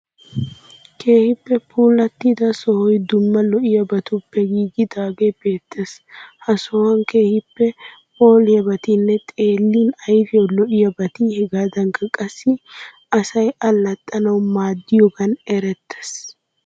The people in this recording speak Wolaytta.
Keehippe puullatida sohoyi dumma lo'iyabatuppe giigidagee beettees. Ha sohuwan keehippe phooliyabatinne xeellin ayfiyawu lo'iyabati hegaadankka qassi asay allaxxanawu maaddiyogaan erettees.